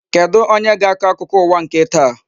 Kedụ onye ga-akọ akụkọ ụwa nke taa?